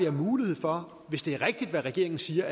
af muligheder hvis det er rigtigt hvad regeringen siger